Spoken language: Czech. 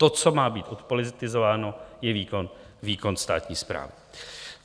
To, co má být odpolitizováno, je výkon státní správy.